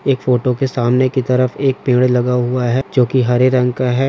इस फोटो के सामने के तरफ एक पद लगा हुआ है।